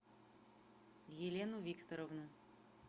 елену викторовну